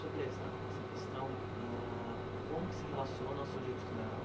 Sobre essa essa questão, âh como que se relaciona ao seu jeito de dar aula?